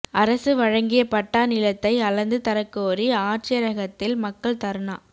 அரசு வழங்கிய பட்டா நிலத்தை அளந்து தரக்கோரி ஆட்சியரகத்தில் மக்கள் தா்னா